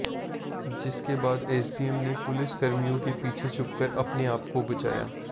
जिसके बाद एसडीएम ने पुलिसकर्मियों के पीछे छुपकर अपने आपको बचाया